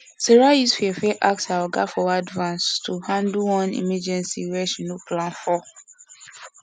sarah use fear fear ask her oga for advance to handle one emergency wey she no plan for